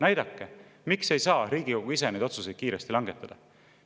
Näidake, miks ei saa Riigikogu ise neid otsuseid kiiresti langetada.